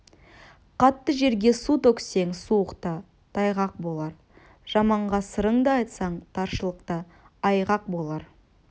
қатты жерге су төксең суықта тайғақ болар жаманға сырыңды айтсаң таршылықта айғақ болар